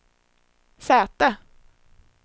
säte